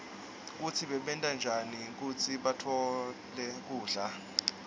kutsi bebenta njani kutsi batfole kudla